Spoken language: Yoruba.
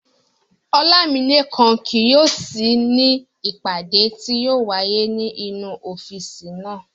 Ọlámilékan kì yóò sí ní ìpàdé tí yóò wáyé ní inú ọ́físì náà